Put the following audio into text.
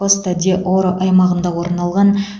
коста де оро аймағында орын алған